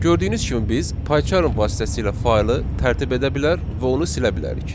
Gördüyünüz kimi biz Paycharm vasitəsilə faylı tərtib edə bilər və onu silə bilərik.